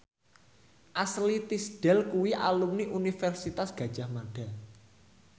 Ashley Tisdale kuwi alumni Universitas Gadjah Mada